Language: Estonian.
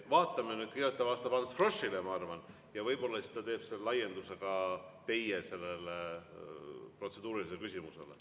Vaatame nüüd, kõigepealt ta vastab Ants Froschile, ma arvan, ja võib-olla siis ta teeb laienduse ka teie protseduurilisele küsimusele.